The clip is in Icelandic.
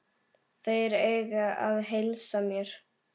Þeir eiga að heilsa mér.